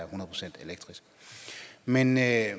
procent elektrisk men jeg